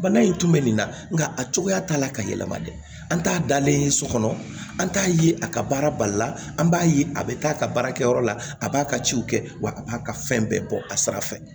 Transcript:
Bana in tun bɛ nin na nka a cogoya t'a la ka yɛlɛma dɛ an t'a dalen ye so kɔnɔ an t'a ye a ka baara bali la an b'a ye a bɛ taa a ka baara kɛ yɔrɔ la a b'a ka ciw kɛ wa a b'a ka fɛn bɛɛ bɔ a sira fɛ